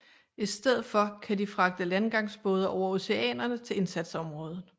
I stedet for kan de fragte landgangsbåde over oceanerne til indsatsområdet